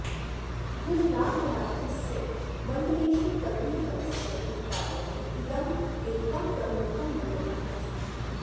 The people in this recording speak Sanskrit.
गुजरातराज्यस्य मण्डलेषु कदलीफलस्य उत्पादने इदम् एकं प्रमुखं मण्डलम् अस्ति